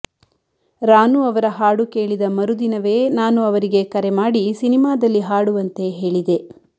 ರಾನು ಅವರ ಹಾಡು ಕೇಳಿದ ಮರುದಿನವೇ ನಾನು ಅವರಿಗೆ ಕರೆ ಮಾಡಿ ಸಿನಿಮಾದಲ್ಲಿ ಹಾಡುವಂತೆ ಹೇಳಿದೆ